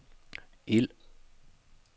ild